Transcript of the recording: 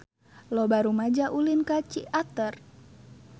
Loba rumaja ulin ka Ciater